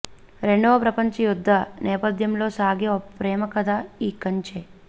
రెండవ ప్రపంచ యుద్ధ నేపధ్యంలో సాగే ఒక ప్రేమకథ ఈ కంచె